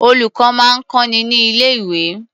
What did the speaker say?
Olùkọ́ máa ń kọ́ni ní ilé-̀wé.